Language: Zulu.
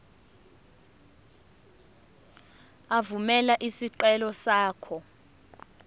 evumela isicelo sakho